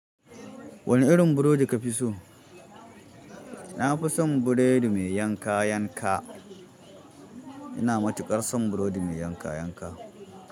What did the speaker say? Wani irin burodi ka fi so na fi son burodi mai yanka yanka. Ina matuƙar son burodi mai yanka yanka.